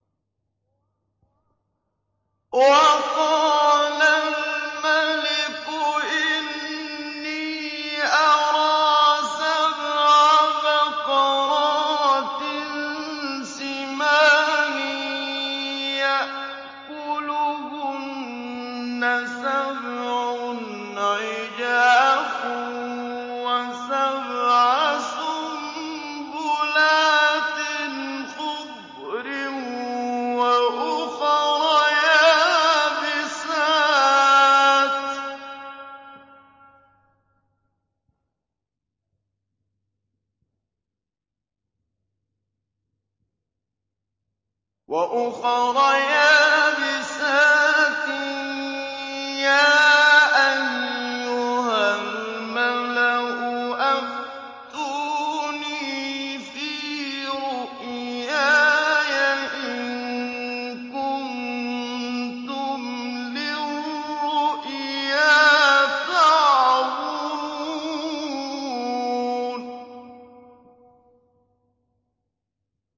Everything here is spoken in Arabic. وَقَالَ الْمَلِكُ إِنِّي أَرَىٰ سَبْعَ بَقَرَاتٍ سِمَانٍ يَأْكُلُهُنَّ سَبْعٌ عِجَافٌ وَسَبْعَ سُنبُلَاتٍ خُضْرٍ وَأُخَرَ يَابِسَاتٍ ۖ يَا أَيُّهَا الْمَلَأُ أَفْتُونِي فِي رُؤْيَايَ إِن كُنتُمْ لِلرُّؤْيَا تَعْبُرُونَ